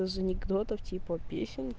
из анекдотов типа песен